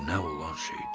Bu nə olan şeydir?